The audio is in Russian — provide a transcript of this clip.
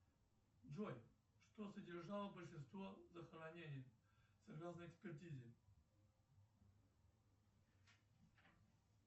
джой что содержало большинство захоронений согласно экспертизе